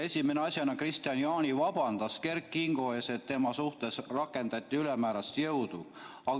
Esimese asjana Kristian Jaani vabandas Kert Kingo ees, et tema suhtes rakendati ülemäärast jõudu.